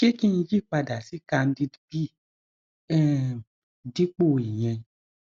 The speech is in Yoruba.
ṣé kí n yí padà sí candid b um dípò ìyẹn